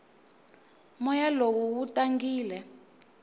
moya lowu wu tangile